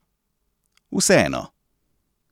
Vseeno.